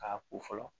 K'a ko fɔlɔ